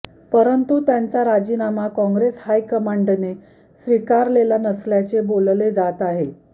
परंतु त्यांचा राजीनामा काँग्रेस हाय कमांडने स्वीकारलेला नसल्याचे बोलले जात आहे